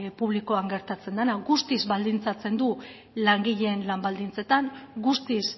publikoan gertatzen dena guztiz baldintzatzen du langileen lan baldintzetan guztiz